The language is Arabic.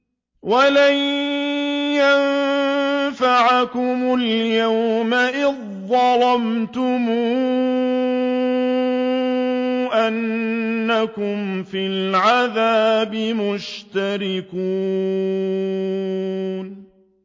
وَلَن يَنفَعَكُمُ الْيَوْمَ إِذ ظَّلَمْتُمْ أَنَّكُمْ فِي الْعَذَابِ مُشْتَرِكُونَ